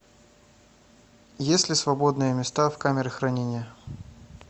есть ли свободные места в камере хранения